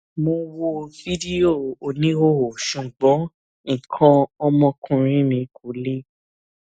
mo wo fídíò oníhòòhò ṣùgbọn nǹkan ọmọkuùnrin mi kò le